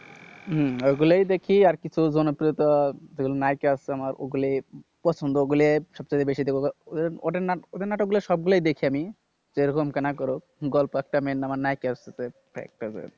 হম ওগুলোই দেখি আর কিছু জনপ্রিয়তা যেগুলো নায়িকা আছে আমার, ওগুলি পছন্দ। ওগুলি সব থেকে বেশি দেখব ওদের নাম ওদের নাটকগুলা সবগুলাই দেখি আমি। যেরকম না করুক, গল্প একটা মেইন আর নায়িকা হচ্ছে যে